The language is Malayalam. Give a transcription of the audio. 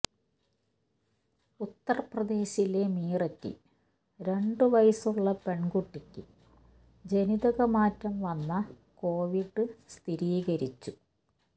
ഉത്തർപ്രദേശിലെ മീററ്റിൽ രണ്ട് വയസ്സുള്ള പെൺകുട്ടിക്ക് ജനിതക മാറ്റം വന്ന കോവിഡ് സ്ഥിരീകരിച്ചു